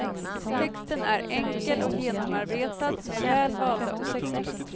Texten är enkel och genomarbetad med väl valda ord.